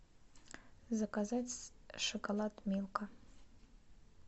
заказать шоколад милка